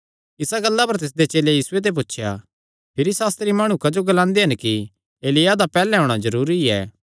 इसा गल्ला पर तिसदे चेलेयां यीशुये ते पुछया भिरी सास्त्री माणु क्जो ग्लांदे हन कि एलिय्याह दा पैहल्ले औणां जरूरी ऐ